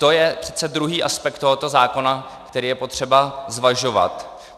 To je přece druhý aspekt tohoto zákona, který je potřeba zvažovat.